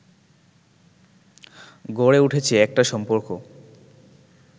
গড়ে উঠেছে একটা সম্পর্ক